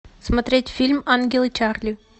смотреть фильм ангелы чарли